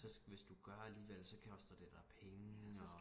så hvis du gør alligevel så koster det dig penge og